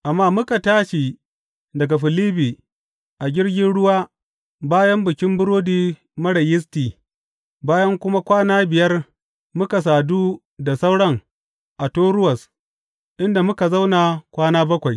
Amma muka tashi daga Filibbi a jirgin ruwa bayan Bikin Burodi Marar Yisti bayan kuma kwana biyar muka sadu da sauran a Toruwas, inda muka zauna kwana bakwai.